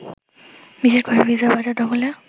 বিশেষ করে ফ্রিজের বাজার দখলে